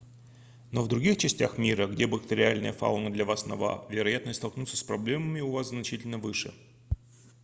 но в других частях мира где бактериальная фауна для вас нова вероятность столкнуться с проблемами у вас значительно выше